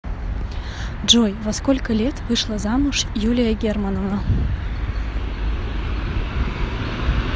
джой во сколько лет вышла замуж юлия германовна